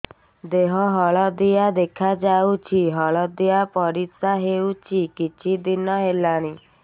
ଦେହ ହଳଦିଆ ଦେଖାଯାଉଛି ହଳଦିଆ ପରିଶ୍ରା ହେଉଛି କିଛିଦିନ ହେଲାଣି